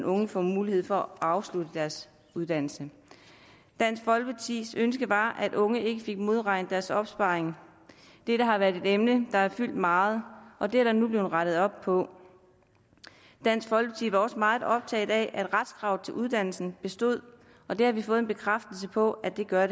unge for mulighed for at afslutte deres uddannelse dansk folkepartis ønske var at unge ikke fik modregnet deres opsparing dette har været et emne der har fyldt meget og det er der nu blevet rettet op på dansk folkeparti var også meget optaget af at retskravet til uddannelsen bestod og det har vi fået en bekræftelse på at det gør